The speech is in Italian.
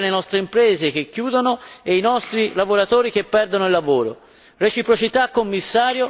forse solo così potremmo aiutare le nostre imprese che chiudono e i nostri lavoratori che perdono il lavoro.